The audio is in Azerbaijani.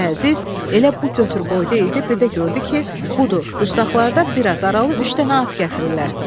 Xoca Əziz elə bu götür-qoyda idi, bir də gördü ki, budur, dustaqlardan bir az aralı üç dənə at gətirirlər.